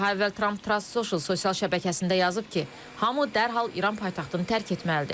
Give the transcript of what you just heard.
Daha əvvəl Tramp Truth Social sosial şəbəkəsində yazıb ki, hamı dərhal İran paytaxtını tərk etməlidir.